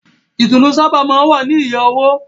Ìtùnú sábà máa ń wá ní iye owó.